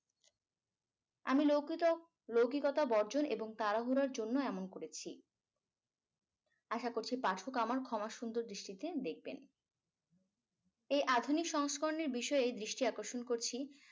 আমি লৌকিত লৌকিকতা বর্জন এবং তাড়াহুড়ার জন্য এমন করেছি আশা করছি পাঠক আমার ক্ষমা সুন্দর দৃষ্টিতে দেখবেন এই আধুনিক সংস্করণের বিষয়ে দৃষ্টি আকর্ষণ করছি